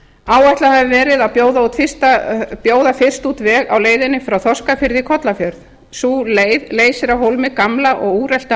áætlað hefur verið að bjóða fyrst út veg á leiðinni frá þorskafirði í kollafjörð sú leið leysir af hólmi gamlan og úreltan